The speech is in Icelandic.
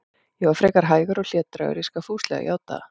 Ég var frekar hægur og hlédrægur, ég skal fúslega játa það.